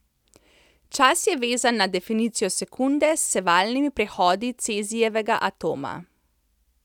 Čas je vezan na definicijo sekunde s sevalnimi prehodi cezijevega atoma.